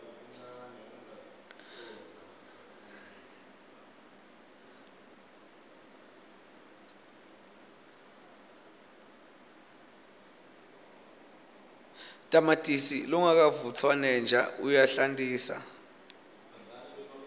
tamatisi longavutfwaneja uyahlantisa